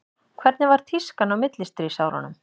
hvernig var tískan á millistríðsárunum